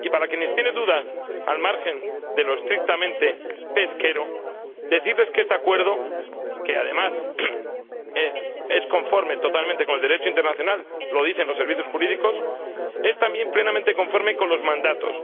Y para quienes tienen dudas al margen de lo estrictamente pesquero, quiero decirles que este Acuerdo, que, además, es totalmente conforme con el Derecho internacional —lo dicen los servicios jurídicos—, es también plenamente conforme con los mandatos.